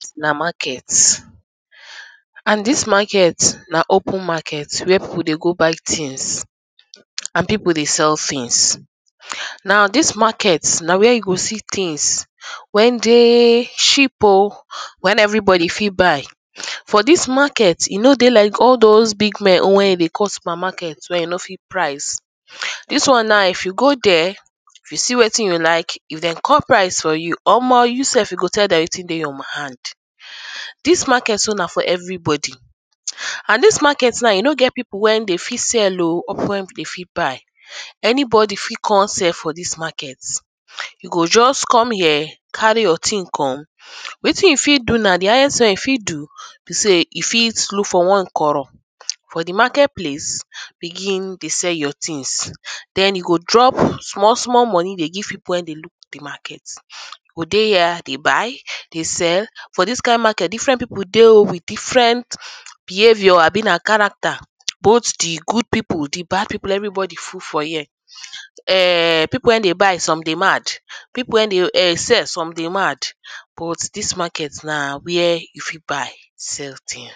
Na market and dis market na open market where pipu dey go buy tins and pipu dey sell tins na dis market na where you go see tins wey dey cheap oh wey every body fit buy, for dis market e no dey like all dose big men own wey dey call supermarket wey you no fit price. Dis one now if you go dere you see wetin you like dey call price for you, omo you sef you go tell dem wetin dey your hand, dis market so na for everybody and dis market now e no get pipu wey dey fit sell oh or pipu wey dey fit buy anybody fit come sell for dis market, you go just come here carry your tin come wetin you fit do na di highest wey you fit do, be sey you fit look for nwakoro for di market place begin dey sell your tins den you go drop small small money dey give pipu wey dey look di market, you go dey here dey buy dey sell for dis kind market different pipu dey oh with different behaviour abi na character both di good pipu di bad pipu everybody full for here, [urn] pipu wey dey buy some dey mad, pipu wey dey sell some sey mad but dis market na where you fit buy sell tins na market.